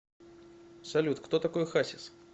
салют кто такой хасис